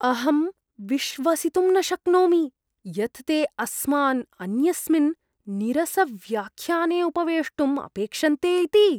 अहं विश्वसितुं न शक्नोमि यत् ते अस्मान् अन्यस्मिन् नीरसव्याख्याने उपवेष्टुम् अपेक्षन्ते इति।